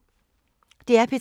DR P3